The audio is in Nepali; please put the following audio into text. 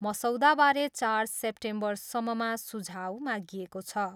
मसौदाबारे चार सेम्पेम्बरसम्ममा सुझाउ मागिएको छ।